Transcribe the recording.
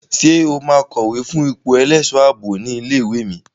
Ṣé o máa kọ̀wé fún ipò ẹlẹ́ṣọ̀ ààbò ilé ìwé mi?